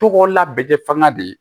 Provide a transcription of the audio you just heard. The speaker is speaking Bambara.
Togo labɛn fanga de ye